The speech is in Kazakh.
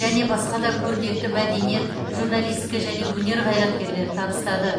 және басқа да көрнекті мәдениет журналистика және өнер қайраткерлері табыстады